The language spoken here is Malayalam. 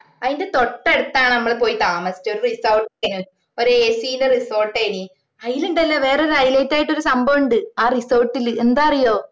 അയിന്റെ തൊട്ടടുത്താണ് ഞമ്മള് പോയി താമസിച്ചേ ഒരു resort ഇലേനും ഒരു AC ഇന്റെ resort ഏനും ആയിലിണ്ടല്ലോ വേറൊരു highlight ആയിട്ടുള്ളോരു സംഭവം ഇണ്ട് ആ resort ല് എന്താണന്ന് അറിയുവോ